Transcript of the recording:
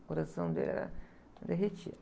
O coração dele era derretido.